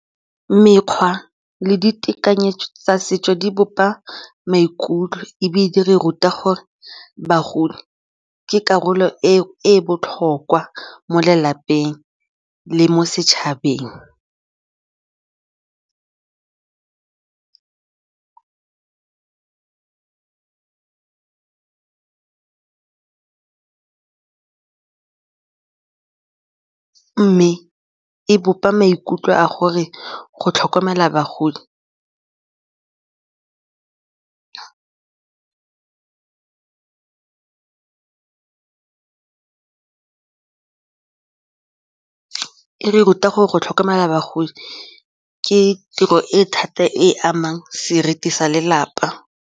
Mekgwa le ditekanyetso tsa setso di bopa maikutlo ebile di re ruta gore bagodi ke karolo e botlhokwa mo lelapeng le mo setšhabeng mme e bopa maikutlo a gore go tlhoka la bagodi e re ruta gore go tlhokomela bagodi ke tiro e thata e amang seriti sa lelapa.